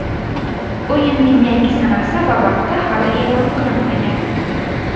O‘yinning yangi sanasi va vaqti hali e’lon qilinmagan.